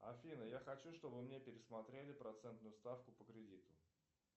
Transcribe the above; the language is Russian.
афина я хочу чтобы мне пересмотрели процентную ставку по кредиту